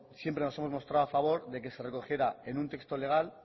siempre nos hemos mostrado a favor de que se recogiera en un texto legal